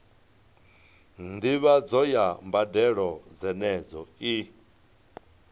ndivhadzo ya mbadelo dzenedzo i